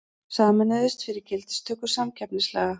Sameinuðust fyrir gildistöku samkeppnislaga